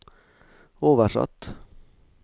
oversatt